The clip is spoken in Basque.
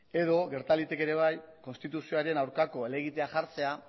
edo gerta liteke ere bai konstituzioaren aurkako helegitea jartzea